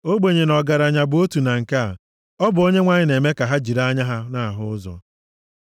Ogbenye na ọgaranya bụ otu na nke a: ọ bụ Onyenwe anyị na-eme ka ha jiri anya ha na-ahụ ụzọ.